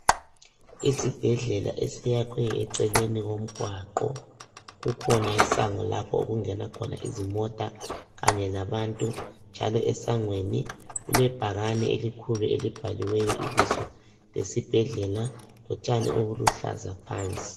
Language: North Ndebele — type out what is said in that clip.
Isibhedlela esiyakhwe eceleni komgwaqo. Kukhona isango lapho okungena khona izimota kanye labantu njalo esangweni kulebhakani elikhulu elibhaliweyo ibizo lesibhedlela lotshani obuluhlaza phansi.